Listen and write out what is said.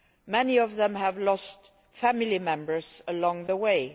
Many of them have lost family members along the way.